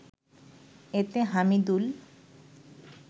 এতে হামিদুল